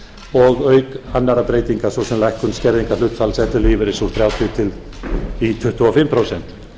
og auk annarra breytinga svo sem lækkun skerðingarhlutfalls ellilífeyris úr þrjátíu í tuttugu og fimm prósent